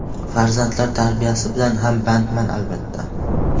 Farzandlar tarbiyasi bilan ham bandman, albatta.